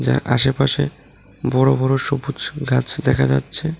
যার আশেপাশে বড় বড় সবুজ গাছ দেখা যাচ্ছে।